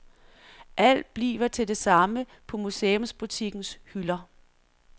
Alt bliver til det samme på museumsbutikkens hylder.